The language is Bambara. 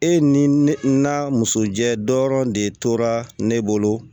E ni ne na muso jɛ dɔrɔn de tora ne bolo